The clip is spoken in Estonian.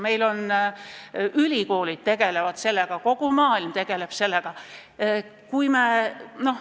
Meie ülikoolid tegelevad sellega, kogu maailm tegeleb sellega.